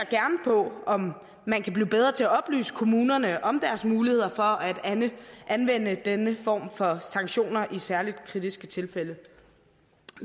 på om man kan blive bedre til at oplyse kommunerne om deres muligheder for at anvende denne form for sanktioner i særlig kritiske tilfælde